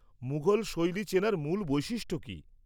-মুঘল শৈলী চেনার মূল বৈশিষ্ট্য কী?